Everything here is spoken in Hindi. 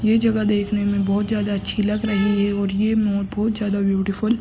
ये जगह देखने में बोहोत ज्यादा अच्छी लग रही है और ये मोर बोहोत ज्यादा ब्यूटीफुल --